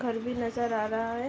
घर भी नजर आ रहा है।